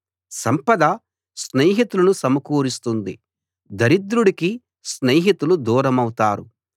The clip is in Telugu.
సంపద స్నేహితులను సమకూరుస్తుంది దరిద్రుడికి స్నేహితులు దూరమౌతారు